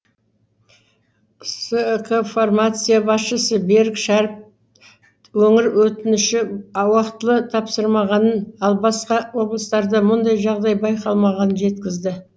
скфармация басшысы берік шәріп өңір өтініші ауақтылы тапсырмағанын ал басқа облыстарда мұндай жағдай байқалмағанын жеткізді